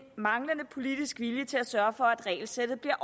manglende politisk vilje til at sørge for at regelsættet bliver